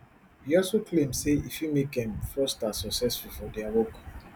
e also e also claim say e fit make um fraudsters successful for dia work